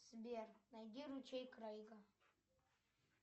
сбер найди ручей крейга